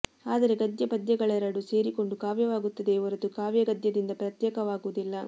ಆದರೆ ಗದ್ಯ ಪದ್ಯಗಳೆರಡೂ ಸೇರಿಕೊಂಡು ಕಾವ್ಯವಾಗುತ್ತದೆಯೆ ಹೊರತು ಕಾವ್ಯ ಗದ್ಯದಿಂದ ಪ್ರತ್ಯೇಕವಾಗುವುದಿಲ್ಲ